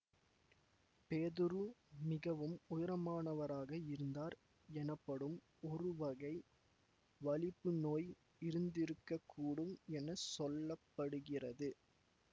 பேதுரு மிகவும் உயரமானவராக இருந்தார் எனப்படும் ஒருவகை வலிப்புநோய் இருந்திருக்க கூடும் என சொல்ல படுகிறது